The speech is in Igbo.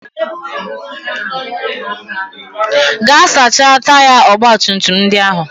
Gaa sachaa taya ọgbatumtum ndị ahụ!